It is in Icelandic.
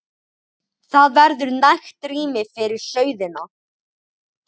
Það verður nægt rými fyrir sauðina.